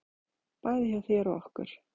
Bæði hjá þér og okkur.